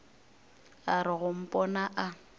a re go mpona a